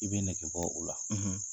I bɛ nege bɔ o la.